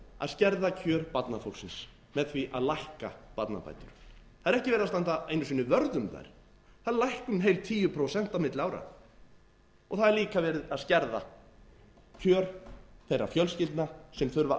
að skerða kjör barnafólksins með því að lækka barnabætur það er ekki verið að standa einu sinni vörð um þær þær lækka um heil tíu prósent á milli ára það er líka verið að skerða kjör þeirra fjölskyldna sem þurfa að